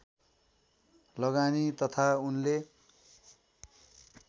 लगानी तथा उनले